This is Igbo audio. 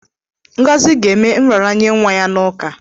Ngozi ga-eme nraranye nwa ya n'ụka.